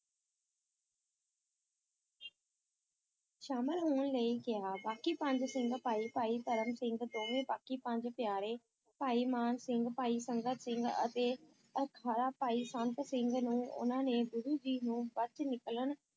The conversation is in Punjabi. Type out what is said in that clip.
ਸ਼ਾਮਲ ਹੋਣ ਲਈ ਕਿਹਾ ਬਾਕੀ ਪੰਜ ਸਿੰਘ ਭਾਈ ਭਾਈ ਧਰਮ ਸਿੰਘ ਦੋਵੇਂ ਬਾਕੀ ਪੰਜ ਪਿਆਰੇ, ਭਾਈ ਮਾਨ ਸਿੰਘ, ਭਾਈ ਸੰਗਤ ਸਿੰਘ ਅਤੇ ਅਖਾਰਾ ਭਾਈ ਸੰਤ ਸਿੰਘ ਨੂੰ ਉਨ੍ਹਾਂ ਨੇ ਗੁਰੂ ਜੀ ਨੂੰ ਬਚ ਨਿਕਲਣ